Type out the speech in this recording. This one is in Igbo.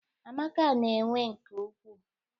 Amaka n'ewe nke ukwuu